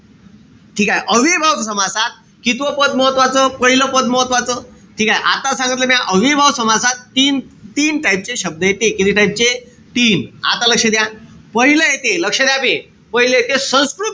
ठीकेय? अव्ययीभाव समासात कितवा पद महत्वाचं? पाहिलं पद महत्वाचं. ठीकेय? आता सांगितलं म्या. अव्ययीभाव समासात तीन-तीन type चे शब्द येते. किती type चे? तीन. आता लक्ष द्या. पाहिलं येते. लक्ष द्या बे. पाहिलं येते संस्कृत,